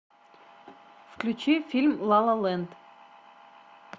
включи фильм ла ла ленд